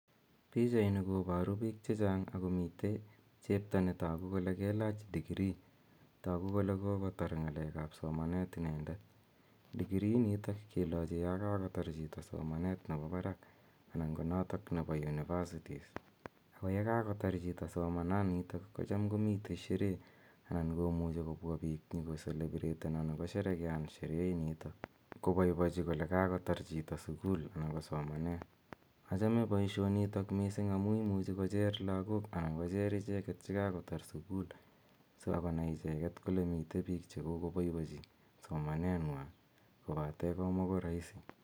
PIchaini koporu biik chechang akomite chepto netoku kole kelach degree toku kole kokotar ng'alekap somanet inendet. Degree inito kelochi yokakotar chito somanet nepo barak anan ko notok nepo universities ako yekakotar chito somananito kocham komite sheree anan komuchi kobwa biik nyokocelebreten anan kosherekean sheree inito, kopoipochi kole kakotar chito sukul anan ko somanet. Achome poishonitok mising amu imuchi kocher lagok anan kocher icheket chekakotar sukul sikonai icheket kole mite biik chekokopoipochi somaneng'wa kobate komako rahisi.